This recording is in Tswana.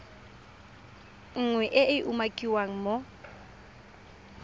nngwe e e umakiwang mo